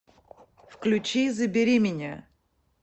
включи забери меня